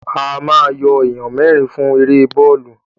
A ma yọ èèyàn mẹ́rin fún èrè bọ́ọ̀lù